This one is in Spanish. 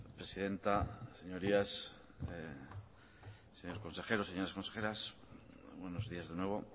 presidenta señorías señor consejero señoras consejeras buenos días de nuevo